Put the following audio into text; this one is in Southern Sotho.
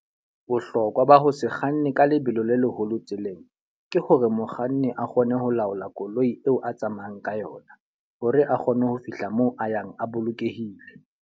Bohlokwa ba ho se kganne ka lebelo le leholo tseleng, ke hore mokganni a kgone ho laola koloi eo a tsamayang ka yona. Hore a kgone ho fihla moo a yang a bolokehile.